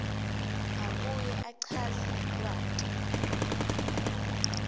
abuye achaze lwati